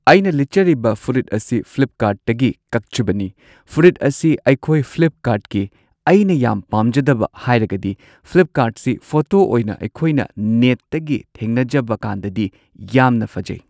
ꯑꯩꯅ ꯂꯤꯠꯆꯔꯤꯕ ꯐꯨꯔꯤꯠ ꯑꯁꯤ ꯐ꯭ꯂꯤꯞ ꯀꯥꯔꯠꯇꯒꯤ ꯀꯛꯆꯕꯅꯤ ꯐꯨꯔꯤꯠ ꯑꯁꯤ ꯑꯩꯈꯣꯏ ꯐ꯭ꯂꯤꯞ ꯀꯥꯔꯠꯀꯤ ꯑꯩꯅ ꯌꯥꯝ ꯄꯥꯝꯖꯗꯕ ꯍꯥꯏꯔꯒꯗꯤ ꯐ꯭ꯂꯤꯞ ꯀꯥꯔꯠꯁꯤ ꯐꯣꯇꯣ ꯑꯣꯏꯅ ꯑꯩꯈꯣꯏꯅ ꯅꯦꯠꯇꯒꯤ ꯊꯦꯡꯅꯖꯕ ꯀꯥꯟꯗꯗꯤ ꯌꯥꯝꯅ ꯐꯖꯩ꯫